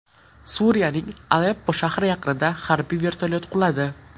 Suriyaning Aleppo shahri yaqinida harbiy vertolyot quladi.